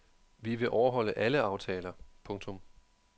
Vi vil overholde alle aftaler. punktum